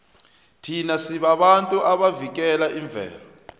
thina sibabantu abavikela imvelo